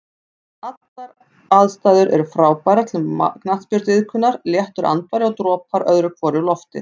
Allar aðstæður er frábærar til knattspyrnuiðkunar, léttur andvari og dropar öðru hverju úr lofti.